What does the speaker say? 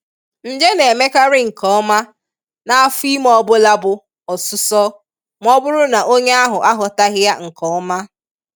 Nje na-emekarị nke ọma n' afo ime ọbụla bu osụ́sọ, ma ọ bụrụ na onye ahụ aghọtaghị ya nke oma.